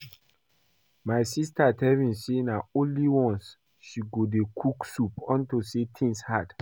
My sister tell me say na only once she go dey cook soup unto say things hard